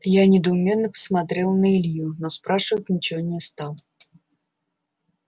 я недоуменно посмотрел на илью но спрашивать ничего не стал